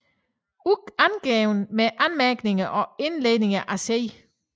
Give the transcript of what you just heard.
Udgivne med Anmærkninger og Indledninger af C